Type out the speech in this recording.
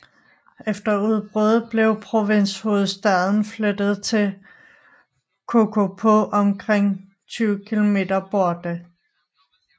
Efter udbruddet blev provinshovedstaden flyttet til Kokopo omkring 20 km borte